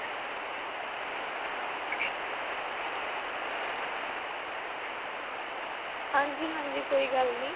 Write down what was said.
ਹਾਂਜੀ ਹਾਂਜੀ ਕੋਈ ਗੱਲ ਨੀ